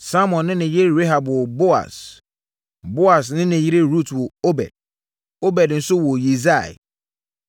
Salmon ne ne yere Rahab woo Boas; Boas ne ne yere Rut woo Obed; Obed nso woo Yisai.